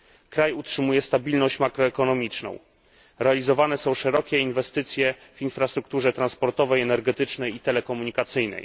Kraj utrzymuje stabilność makroekonomiczną, realizowane są szerokie inwestycje w infrastrukturę transportową, energetyczną i telekomunikacyjną.